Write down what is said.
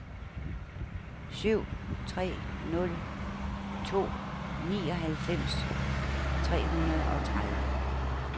syv tre nul to nioghalvfems tre hundrede og tredive